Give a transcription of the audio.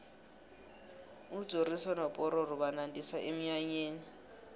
ujoriyo nopororo banandisa emnyanyeni